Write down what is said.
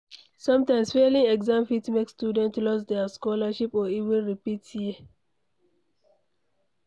Sometimes failing exam fit make student lose their scholarship or even repeat year